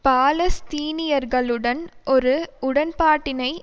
பாலஸ்தீனியர்களுடன் ஒரு உடன்பாட்டினை